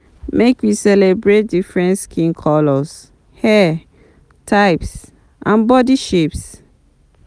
Make we celebrate different skin colors, hair types, and bodi shapes.